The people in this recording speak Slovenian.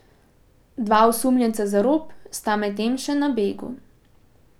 Dva osumljenca za rop sta medtem še na begu.